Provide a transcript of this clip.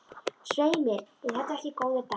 Svei mér ef þetta voru ekki góðir dagar.